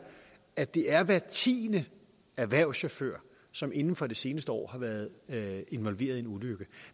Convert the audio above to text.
at det er hver tiende erhvervschauffør som inden for det seneste år har været involveret i en ulykke